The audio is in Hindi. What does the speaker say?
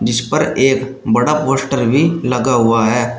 इस पर एक बड़ा पोस्टर भी लगा हुआ है।